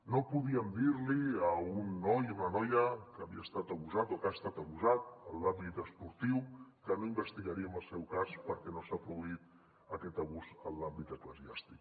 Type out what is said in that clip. no podíem dir li a un noi o una noia que havia estat abusat o que ha estat abusat en l’àmbit esportiu que no investigaríem el seu cas perquè no s’ha produït aquest abús en l’àmbit eclesiàstic